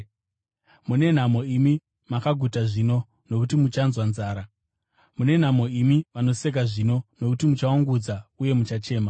Mune nhamo imi makaguta zvino, nokuti muchanzwa nzara. Mune nhamo imi vanoseka zvino, nokuti muchaungudza uye muchachema.